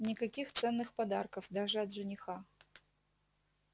никаких ценных подарков даже от жениха